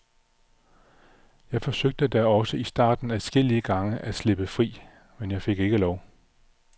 Jeg forsøgte da også i starten adskillige gange at slippe fri, men jeg fik ikke lov.